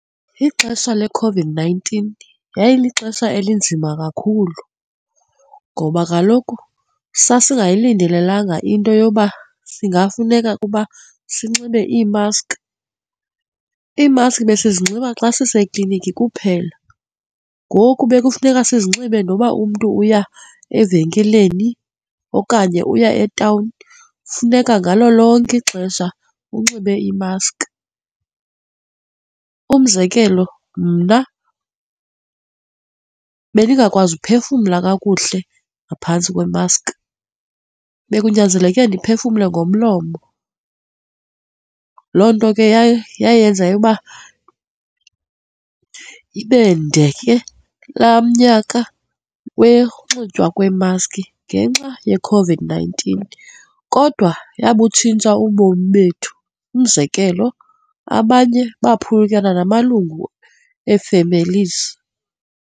Ixesha leCOVID-nineteen yayilixesha elinzima kakhulu ngoba kaloku sasingayilindelelanga into yoba singafumaneka kuba sinxibe iimaski, iimaski sizinxiba xa sisekliniki kuphela ngoku bekufuneka sinxibe noba umntu uya evenkileni okanye uya etawuni, funeka ngalo lonke ixesha unxibe imaski. Umzekelo, mna bendingakwazi ukuphefumla kakuhle ngaphantsi kwemaski, bekunyanzeleke ndiphefumle ngomlomo. Loo nto ke yaye yayenza yokuba ibende ke laa nyaka wekuxitywa kweemaski ngenxa yeCOVID-nineteen kodwa yabutshintsha ubomi bethu. Umzekelo, abanye baphulukana namalungu ee-families.